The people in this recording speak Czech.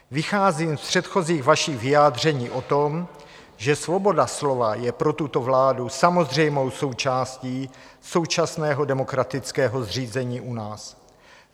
Vycházím z předchozích vašich vyjádření o tom, že svoboda slova je pro tuto vládu samozřejmou součástí současného demokratického zřízení u nás.